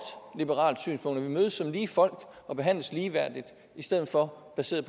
liberalt synspunkt at vi mødes som lige folk og behandles ligeværdigt i stedet for at basere